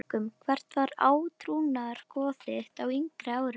Haukum Hvert var átrúnaðargoð þitt á yngri árum?